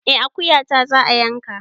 Eh akuyata za a yanka